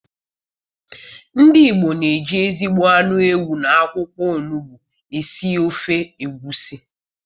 Ndi igbo na eji ezigbo anụ ewu na akwụkwọ onugbu esi ofe egwusi